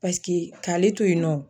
Paseke k'ale to yen nɔ.